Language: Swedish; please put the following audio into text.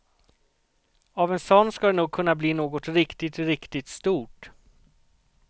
Av en sån ska det nog kunna bli något riktigt, riktigt stort.